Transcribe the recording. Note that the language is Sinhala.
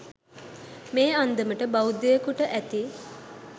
මේ අන්දමට බෞද්ධයකුට ඇති